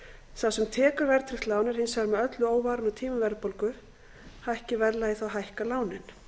sem tekur verðtryggt lán er hins vegar með öllu óvarinn á tímum verðbólgu hækki verðlagið hækka lánin